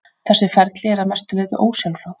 Þessi ferli eru að mestu leyti ósjálfráð.